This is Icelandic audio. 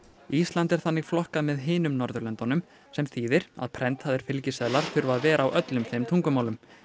ísland er þannig flokkað með hinum Norðurlöndunum sem þýðir að prentaðir fylgiseðlar þurfa að vera á öllum þeim tungumálum